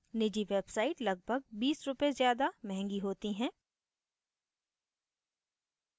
निजी websites लगभग 20 रुपए ज़्यादा महँगी होती हैं